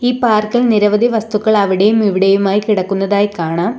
പാർക്കിൽ നിരവധി വസ്തുക്കൾ അവിടെയും ഇവിടെയുമായി കിടക്കുന്നതായി കാണാം.